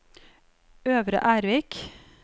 Øvre Ervik